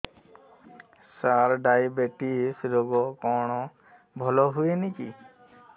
ସାର diabetes ରୋଗ କଣ ଭଲ ହୁଏନି କି